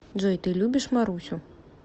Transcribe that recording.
джой ты любишь марусю